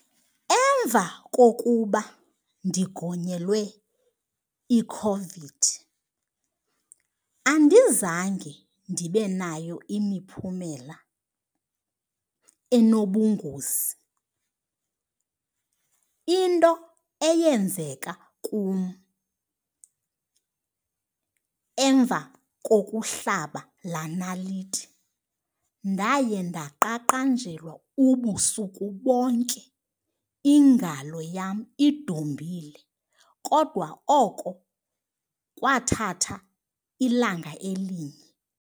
Emva kokuba ndigonyelwe iCOVID andizange ndibe nayo imiphumela enobungozi. Into eyenzeka kum emva kokuhlaba laa naliti, ndaye ndaqaqanjelwa ubusuku bonke iingalo yam idumbile. Kodwa oko kwathatha ilanga elinye.